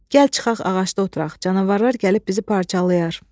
Gəl çıxaq ağacda oturaq, canavarlar gəlib bizi parçalayar.